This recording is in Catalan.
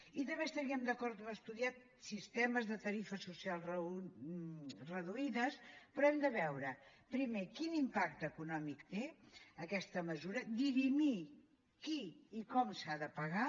i també estaríem d’acord a estudiar sistemes de tarifes socials reduïdes però hem de veure primer quin impacte econòmic té aquesta mesura dirimir qui i com s’ha de pagar